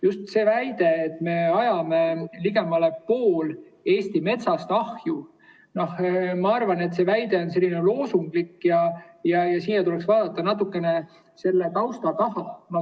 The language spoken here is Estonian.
Just see väide, et me ajame ligemale poole Eesti metsast ahju, ma arvan, et see väide on loosunglik ja tuleks vaadata natukene selle tausta taha.